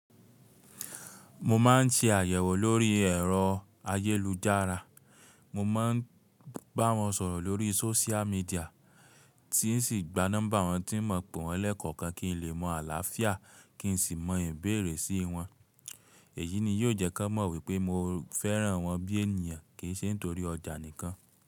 Mo ma n ti àyẹ̀wò lórí ẹ̀rọ ayélujára. Mo ma n bá wọn sọ̀rọ̀ lórí sóṣíà míḍíà tí n sì gba nọ́mbà wọn tí n mọo pè wọ́n lẹ́kọ̀ọ̀kan kí n lè mọ àlàáfíà kí n sì mọ ìbéèrè síi wọn. Èyí ni yóò jẹ́ kọ́n mọ̀ wípé mo fẹ́ràn wọn bí ènìyàn kì í ṣe nítorí ọjà nìkan.